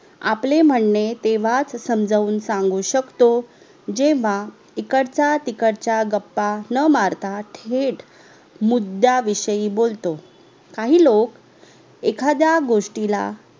आपले म्हणणे तेव्हाच समजाऊन सांगू शकतो जेव्हा इकडच्या तिकडच्या गप्पा नं मारता थेट मुद्द्याविषयी बोलतो काही लोक येखाद्या गोष्टीला